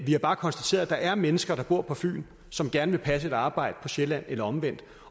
vi har bare konstateret at der er mennesker der bor på fyn som gerne vil passe et arbejde på sjælland eller omvendt